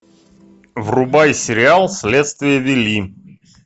врубай сериал следствие вели